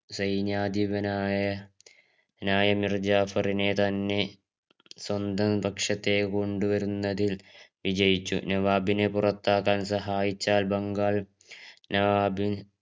സൈനാധിപനായ നായമിർജാറിനെ തന്നെ സ്വന്തം പക്ഷത്തിലേക്ക് കൊണ്ടുവരുന്നതിൽ വിജയിച്ചു നവാബിനെ പുറത്താക്കാൻ സഹായിച്ചാൽ ബംഗാൾ നവാബ്